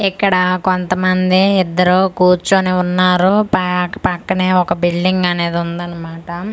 ఇక్కడా కొంతమంది ఇద్దరూ కూర్చొని వున్నారు పాక్ పక్కనే ఒక బిల్డింగ్ అనేది వుందన్న మాట .]